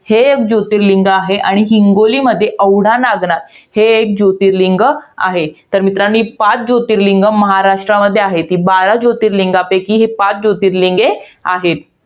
हे एक जोतिर्लिंग आहे आणि हिंगोलीमध्ये औडानागनाथ, हे एक जोतिर्लिंग आहे. तर मित्रांनो, ही पाच जोतिर्लिंग महाराष्ट्रामध्ये आहे. ती बारा जोतिर्लिंगांपैकी हे पाच जोतिर्लिंगे आहेत.